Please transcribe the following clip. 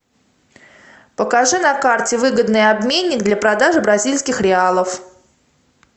покажи на карте выгодный обменник для продажи бразильских реалов